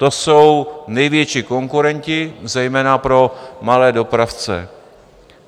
To jsou největší konkurenti zejména pro malé dopravce.